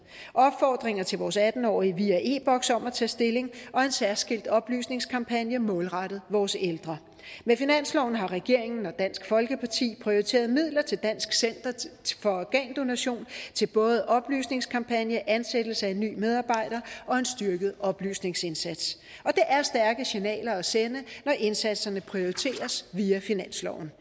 opfordringer til vores atten årige via e boks om at tage stilling og en særskilt oplysningskampagne målrettet vores ældre med finansloven har regeringen og dansk folkeparti prioriteret midler til dansk center for organdonation til både oplysningskampagne ansættelse af en ny medarbejder og en styrket oplysningsindsats og det er stærke signaler at sende når indsatserne prioriteres via finansloven